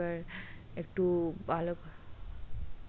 এবার একটু ভালো